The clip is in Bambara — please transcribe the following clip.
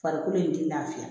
Farikolo in tɛ lafiya